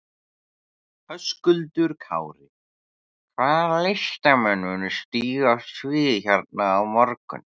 Höskuldur Kári: Hvaða listamenn munu stíga á svið hérna á morgun?